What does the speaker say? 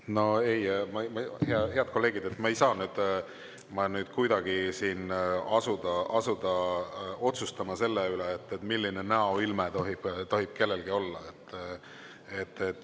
No ei, head kolleegid, ma ei saa kuidagi siin asuda otsustama selle üle, milline näoilme tohib kellelgi olla.